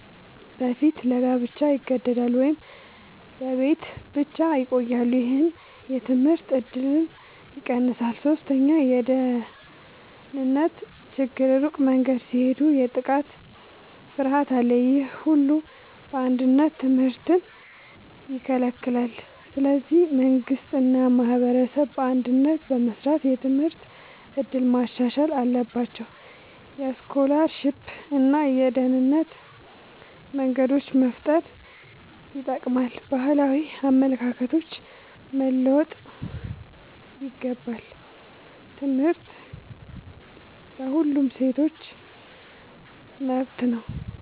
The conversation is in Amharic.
በፊት ለጋብቻ ይገደዳሉ ወይም በቤት ብቻ ይቆያሉ። ይህ የትምህርት እድልን ይቀንሳል። ሶስተኛ የደህንነት ችግር ሩቅ መንገድ ሲሄዱ የጥቃት ፍርሃት አለ። ይህ ሁሉ በአንድነት ትምህርትን ይከለክላል። ስለዚህ መንግሥት እና ማህበረሰብ በአንድነት በመስራት የትምህርት እድል ማሻሻል አለባቸው። የስኮላርሺፕ እና የደህንነት መንገዶች መፍጠር ይጠቅማል። ባህላዊ አመለካከቶች መለወጥ ይገባል። ትምህርት ለሁሉም ሴቶች መብት ነው።